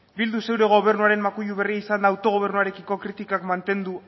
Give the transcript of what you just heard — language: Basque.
bildu zure gobernuaren makuilu berri izanda autogobernuarekiko kritikak mantendu